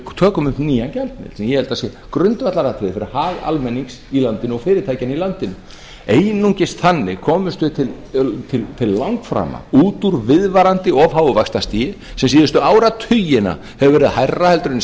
tökum upp nýjan gjaldmiðil sem ég held að sé grundvallaratriði fyrir hag almennings í landinu og fyrirtækjanna í landinu einungis þannig komumst við til langframa út úr viðvarandi of háu vaxtastigi sem síðustu áratugina hefur verið hærra en í